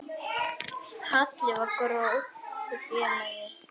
Halli var góður félagi.